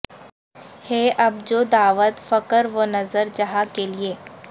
ہے اب جو دعوت فکرو نظر جہاں کے لیے